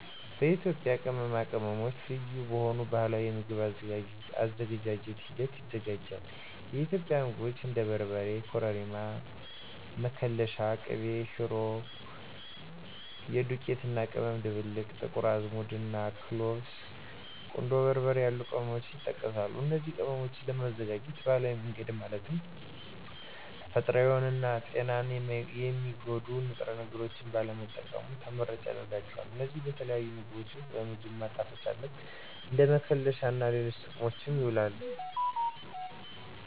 የኢትዮጵያ ቅመማ ቅመሞች ልዩ በሆኑ ባህላዊ የምግብ አዘገጃጀት ሂደት ይዘጋጃል። የኢትዮጵያ ምግቦች እንደ በርበሬ፣ ኮረሪማ፣ መከለሻ፣ ቅቤ ሽሮ (የዱቄት እና ቅመም ድብልቅ)፣ ጥቁር አዝሙድ፣ እና ክሎቭስ፣ ቁንዶ በርበሬ ያሉ ቅመሞችን ይጠቀሳሉ። እነዚን ቅመሞች ለማዘጋጀት ባህላዊ መንገድ ማለትም ተፈጥሮአዊ የሆኑ እና ጤናን የሚጎዱ ንጥረ ነገሮችን ባለመጠቀሙ ተመራጭ ያደርጋቸዋል። እነዚህ በተለያዩ ምግቦች ውስጥ ለ ምግብ ማጣፈጫነት፣ እንደ መከለሻ እና ለሌሎች ጥቅሞችም ይውላሉ።